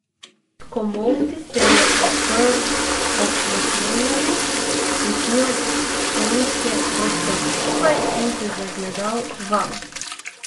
S komolci se je oprl ob naslonjali, stisnil konice prstov skupaj in se zagledal vame.